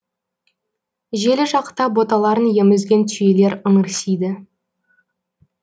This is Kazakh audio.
желі жақта боталарын емізген түйелер ыңырсиды